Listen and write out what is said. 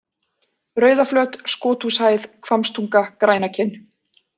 Rauðaflöt, Skothúshæð, Hvammstunga, Grænakinn